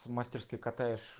мастерские катаешь